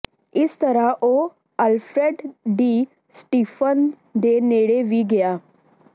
ਇਸ ਤਰ੍ਹਾਂ ਉਹ ਅਲਫ੍ਰੈਡ ਡੀ ਸਟਿਫਾਨ ਦੇ ਨੇੜੇ ਵੀ ਗਿਆ